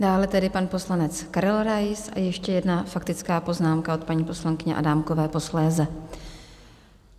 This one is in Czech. Dále tedy pan poslanec Karel Rais a ještě jedna faktická poznámka od paní poslankyně Adámkové posléze.